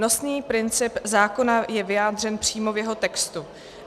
Nosný princip zákona je vyjádřen přímo v jeho textu.